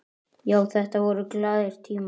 Já, þetta voru glaðir tímar.